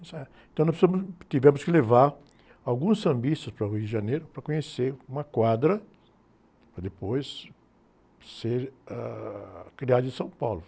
Ensaiar... Então nós fomos, tivemos que levar alguns sambistas para o Rio de Janeiro para conhecer uma quadra, para depois ser, ãh, criado em São Paulo.